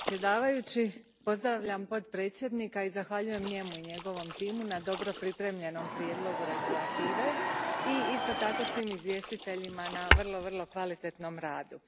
Gospodine predsjedniče, pozdravljam potpredsjednika i zahvaljujem njemu i njegovom timu na dobro pripremljenom prijedlogu regulative i isto tako svim izvjestiteljima na vrlo kvalitetnom radu.